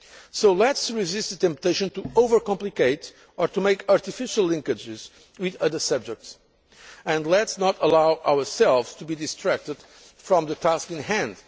it. So let us resist the temptation to overcomplicate or to make artificial linkages with other subjects, and let us not allow ourselves to be distracted from the task in